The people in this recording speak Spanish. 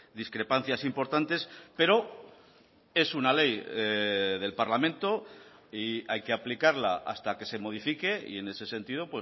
discrepancias importantes pero es una ley del parlamento y hay que aplicarla hasta que se modifique y en ese sentido